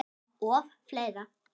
Og fleira.